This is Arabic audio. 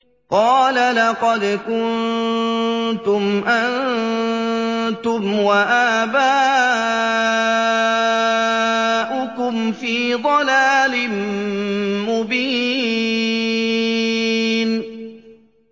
قَالَ لَقَدْ كُنتُمْ أَنتُمْ وَآبَاؤُكُمْ فِي ضَلَالٍ مُّبِينٍ